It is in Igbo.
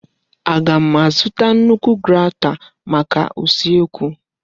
Aga m azụta nnukwu grata maka usekwu?